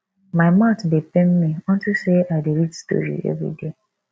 my mouth dey pain me unto say i dey read story everyday